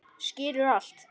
Skilur allt.